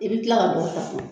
I bɛ kila ka